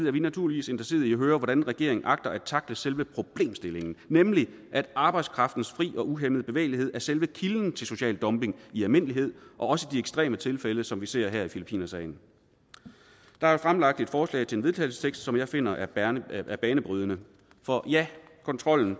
er vi naturligvis interesserede i at høre hvordan regeringen agter at tackle selve problemstillingen nemlig at arbejdskraftens fri og uhæmmede bevægelighed er selve kilden til social dumping i almindelighed og også i de ekstreme tilfælde som vi ser her i filippinersagen der er fremsat et forslag til vedtagelse som jeg finder er er banebrydende ja kontrollen